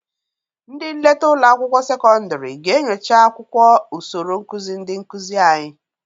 Ndị nleta ụlọ akwụkwọ sekọndịrị ga-enyocha akwụkwọ usoro nkụzị ndị nkụzị anyị.